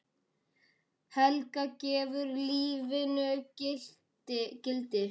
Helga: Gefur lífinu gildi?